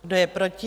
Kdo je proti?